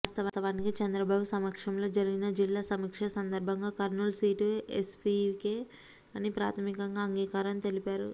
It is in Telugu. వాస్తవానికి చంద్రబాబు సమక్షంలో జరిగిన జిల్లా సమీక్ష సందర్భంగా కర్నూలు సీటు ఎస్వీకే అని ప్రాథమికంగా అంగీకారం తెలిపారు